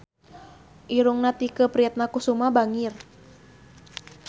Irungna Tike Priatnakusuma bangir